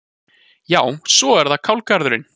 Já, svo er það kálgarðurinn.